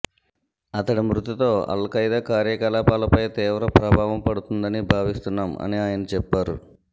అతడి మృతితో Al Qaeda కార్యకలాపాలపై తీవ్ర ప్రభావం పడుతుందని భావిస్తున్నాం అని ఆయన చెప్పారు